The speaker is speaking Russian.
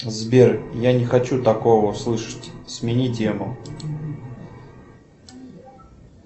сбер я не хочу такого слышать смени тему